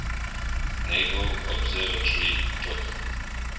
naval observatory took